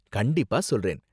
கண்டிப்பா சொல்றேன்.